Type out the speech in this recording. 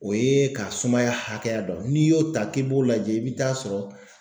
O ye ka sumaya hakɛya dɔn n'i y'o ta k'i b'o lajɛ i be taa sɔrɔ